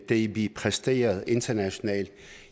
det vi præsterer internationalt